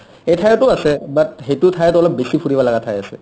এইঠাইতো আছে but সেইটো ঠাইত অলপ বেছি ফুৰিব লগা ঠাই আছে